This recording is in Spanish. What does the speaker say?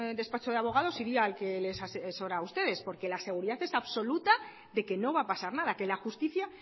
despacho de abogados iría al que les asesora a ustedes porque la seguridad es absoluta de que no va a pasar nada que la justicia